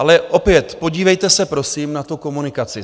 Ale opět, podívejte se prosím, na tu komunikaci.